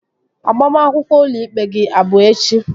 Agbamakwụkwọ ụlọ ikpe gị abụ echi?